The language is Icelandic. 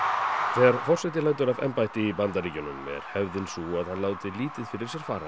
þegar forseti lætur af embætti í Bandaríkjunum er hefðin sú að hann látið lítið fara